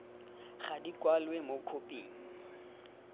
ga di kwalwe mo khophing